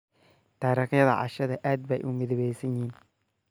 Taarikada cashadayda aad bay u midabaysan yihiin.